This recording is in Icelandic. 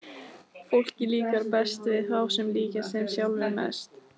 Fólki líkar best við þá sem líkjast þeim sjálfum mest.